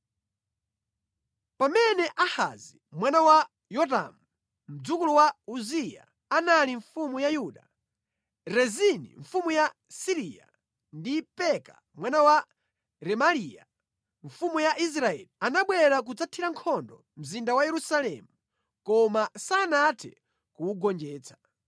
Pamene Ahazi mwana wa Yotamu, mdzukulu wa Uziya anali mfumu ya Yuda, Rezini mfumu ya Siriya ndi Peka mwana wa Remaliya, mfumu ya Israeli anabwera kudzathira nkhondo mzinda wa Yerusalemu, koma sanathe kuwugonjetsa.